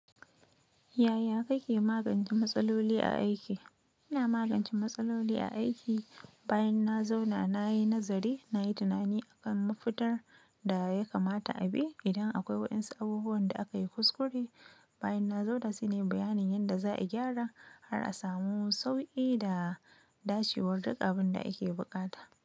Yaya kake magance matsaloli a aiki? Ina magance matsaloli a aiki bayan na zauna nayi nazari, nayi tunani akan mafita da ya kamata a bi idan akwai waɗansu abubuwan da aka yi kuskure. Bayan na zauna, sai nayi bayanin yanda za a gyara har a samu sauƙi da dacewar duk abin da ake buƙata.